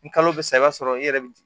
Ni kalo bɛ sa i b'a sɔrɔ i yɛrɛ bɛ